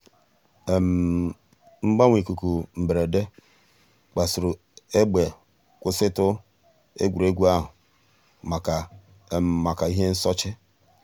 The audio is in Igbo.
mgbanwe íkúkụ̀ mbèrèdè kpasùrù ègbè kwụsị̀tù ègwè́ré́gwụ̀ àhụ̀ mǎká mǎká íhè nsòché.